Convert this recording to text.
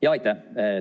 Jaa, aitäh!